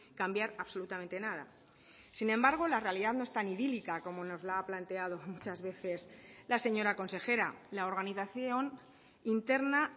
cambiar absolutamente nada sin embargo la realidad no es tan idílica como nos la ha planteado muchas veces la señora consejera la organización interna